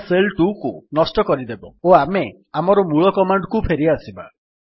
ଏହା ଶେଲ୍ 2କୁ ନଷ୍ଟ କରିଦେବ ଓ ଆମେ ଆମର ମୂଳ କମାଣ୍ଡ୍ କୁ ଫେରିଆସିବା